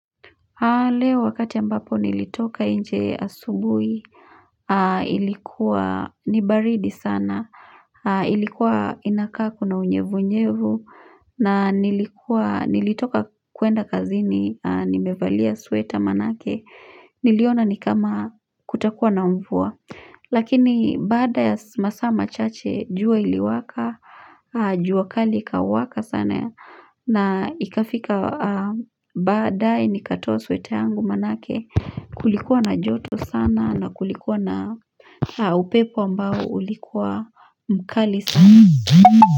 Leo wakati ambapo nilitoka nje asubuhi ilikuwa ni baridi sana ilikuwa inakaa kuna unyevunyevu na nilikuwa nilitoka kuenda kazini nimevalia sweta manake niliona ni kama kutakuwa na mvua lakini baada ya masaa machache jua iliwaka jua kali ikawaka sana ya na ikafika badaye nikatoa sweta yangu manake kulikuwa na joto sana na kulikuwa na upepo ambao ulikuwa mkali sana.